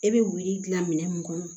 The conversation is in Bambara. E bɛ wuli dilan minɛn mun kɔnɔ